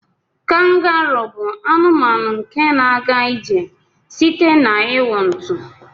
Kangaruu bu anụmanụ nke na aga ijr site n'iwụ ntu.